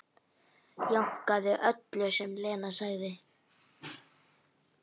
Jánkaði öllu sem Lena sagði.